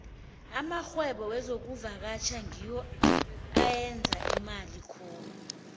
amarhwebo wezokuvakatjha ngiwo ayenza imali khulu